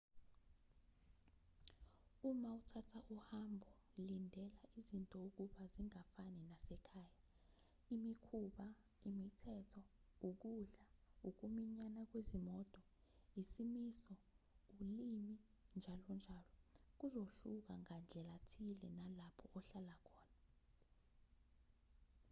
uma uthatha uhambo lindela izinto ukuba zingafani nasekhaya imikhuba imithetho ukudla ukuminyana kwezimoto izimiso ulimi njalonjalo kuzohluka ngandlelathile nalapho uhlala khona